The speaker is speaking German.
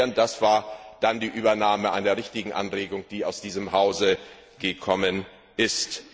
Dies war die Übernahme einer richtigen Anregung, die aus diesem Hause gekommen ist.